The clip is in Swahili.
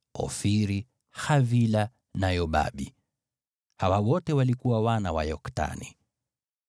Ofiri, Havila na Yobabu. Hawa wote walikuwa wana wa Yoktani.